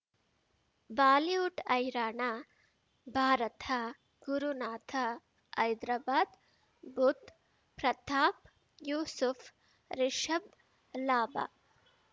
Bollywood ಹೈರಾಣ ಭಾರತ ಗುರುನಾಥ ಹೈದ್ರಾಬಾದ್ ಬುಧ್ ಪ್ರತಾಪ್ ಯೂಸುಫ್ ರಿಷಬ್ ಲಾಭ